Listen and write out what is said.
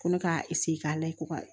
Ko ne ka k'a la ko ka